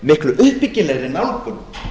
miklu uppbyggilegri nálgun